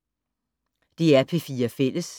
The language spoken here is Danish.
DR P4 Fælles